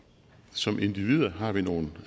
som individer har vi nogle